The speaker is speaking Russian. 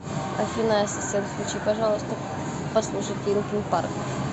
афина ассистент включи пожалуйста послушать линкин парк